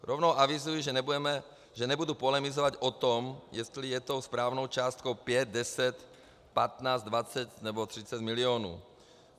Rovnou avizuji, že nebudu polemizovat o tom, jestli je tou správnou částkou 5, 10, 15, 20 nebo 30 milionů.